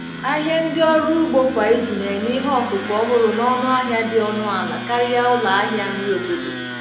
Ahịa ndị ọrụ ugbo kwa izu na-enye ihe ọkụkụ ọhụrụ n'ọnụ ahịa dị ọnụ ala karịa ụlọ ahịa nri obodo.